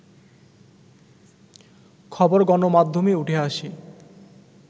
খবর গণমাধ্যমে উঠে আসে